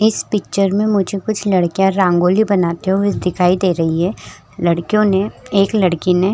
इस पिक्चर में मुझे कुछ लड़कियां रांगोली बनाते हुए दिखाई दे रही है लड़कियों ने एक लड़की ने --